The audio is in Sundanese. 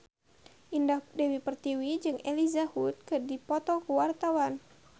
Indah Dewi Pertiwi jeung Elijah Wood keur dipoto ku wartawan